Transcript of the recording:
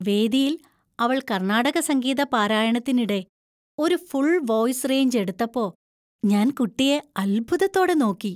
വേദിയിൽ അവള്‍ കർണാടക സംഗീത പാരായണത്തിനിടെ ഒരു ഫുള്‍ വോയിസ്‌ റേഞ്ച് എടുത്തപ്പോ ഞാൻ കുട്ടിയെ അത്ഭുതത്തോടെ നോക്കി.